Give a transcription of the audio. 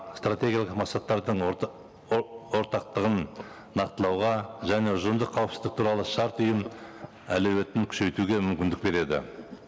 стратегиялық мақсаттардың ортақтығын нақтылауға және ұжымдық қауіпсіздік туралы шарт ұйым әлеуетін күшейтуге мүмкіндік береді